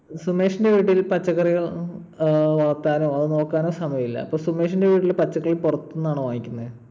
സുമേഷിന്റെ വീട്ടിൽ പച്ചക്കറികൾ വളർത്താനോ അതു നോക്കാനോ സമയമില്ല. അപ്പൊ സുമേഷിന്റെ വീട്ടിൽ പച്ചക്കറികൾ പുറത്തുന്നാണോ വാങ്ങിക്കുന്നെ?